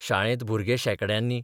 शाळेंत भुरगे शेंकड्यांनी.